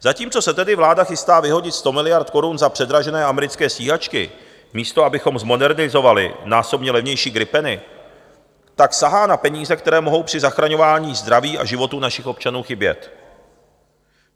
Zatímco se tedy vláda chystá vyhodit 100 miliard korun za předražené americké stíhačky, místo abychom zmodernizovali násobně levnější gripeny, tak sahá na peníze, které mohou při zachraňování zdraví a životů našich občanů chybět.